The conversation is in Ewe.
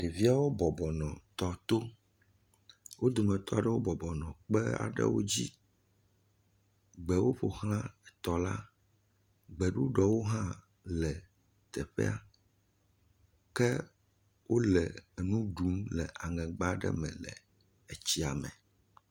Ɖeviawo bɔbɔ nɔ tɔ to. Wo dometɔ aɖewo bɔbɔ nɔ gbe aɖe dzi. Gbewo ƒo xlã tɔ la. Gbeɖuɖɔwo hã le teƒea ke wole nu ɖum le aŋegba aɖe me le tsia me.